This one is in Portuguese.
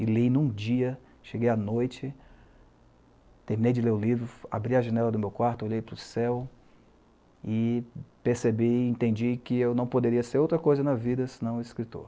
E li em um dia, cheguei à noite, terminei de ler o livro, abri a janela do meu quarto, olhei para o céu e percebi, entendi que eu não poderia ser outra coisa na vida senão escritor.